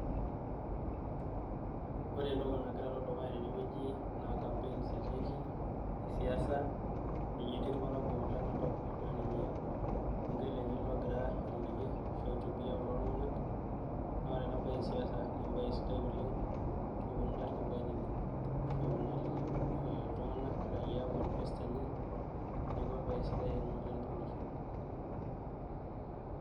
Ore entoki nagira alo dukuya tenewueji naa campaigns etiiki e siasa ninye etii irparakuo lenakop naa ninye orbungei lenye elde ogira airorie ashu aihutubia kulo tung'anak naa ore ena baye e siasa na embaye sidai oleng peeponu ilarikok ainining ashu eponu aaliki iltunganak raiaa manifesto enye neeku embaye sidai ena oleng tolosho.